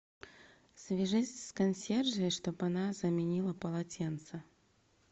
свяжись с консьержей чтобы она заменила полотенце